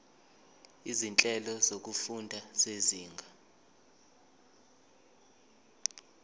izinhlelo zokufunda zezinga